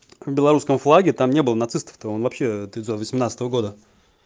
белорусском флаге там не было нацистов вообще девятьсот восемнадцатого года